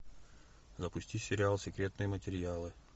запусти сериал секретные материалы